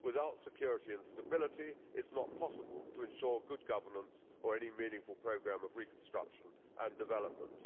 Without security and stability, it is not possible to ensure good governance or any meaningful programme of reconstruction and development.